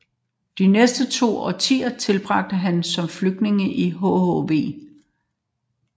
De næste to årtier tilbragte han som flygtning i hhv